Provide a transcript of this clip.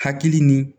Hakili ni